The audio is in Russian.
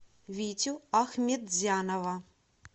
витю ахметзянова